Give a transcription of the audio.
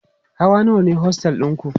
Hawa nawa ne ostel ɗinku?